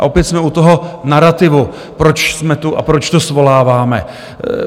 A opět jsme u toho narativu, proč jsme tu a proč to svoláváme.